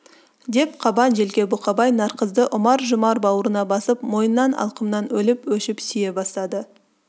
деп қабан желке бұқабай нарқызды ұмар-жұмар бауырына басып мойыннан алқымнан өліп-өшіп сүйе бастады